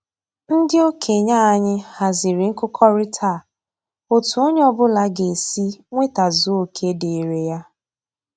Ndị okenye anyị haziri nkụkọrịta a otu onye ọbụla ga-esi nwetazuo oke dịịrị ya